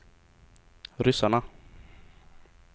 ryssarna